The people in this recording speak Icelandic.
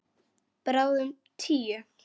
Bráðum tíu.